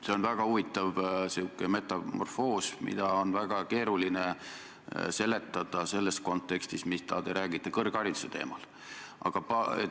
See on väga huvitav metamorfoos, mida on väga keeruline seletada selles kontekstis, mida te räägite kõrghariduse teemal.